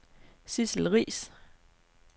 Sidsel Riis